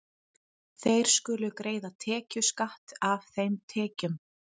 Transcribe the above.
Þeir skulu greiða tekjuskatt af þeim tekjum.